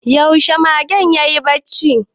Yaushe magen yayi barci?